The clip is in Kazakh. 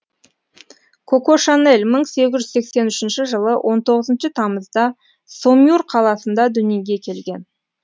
коко шанель мың сегіз жүз сексен үшінші жылы он тоғызыншы тамызда сомюр қаласында дүниеге келген